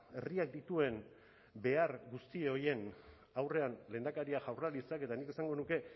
herriak dituen behar guzti horien aurrean lehendakariak jaurlaritzak eta nik esango nuke